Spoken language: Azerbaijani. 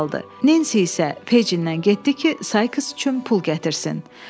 Nensi isə Fejindən getdi ki, Sayks üçün pul gətirsin.